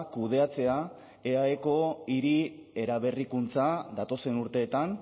kudeatzea eaeko hiri eraberrikuntza datozen urteetan